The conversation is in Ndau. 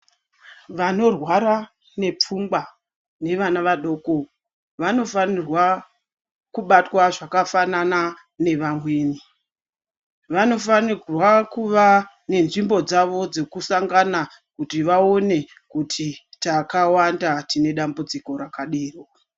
Vanorwara nepfungwa nevana vadoko, vanofanirwa kubatwa zvakafanana nevamweni, vanofanirwa kuva nenzvimbo dzavo dzekusangana, kuti vawone kuti takawanda tine dambudziko rakadero.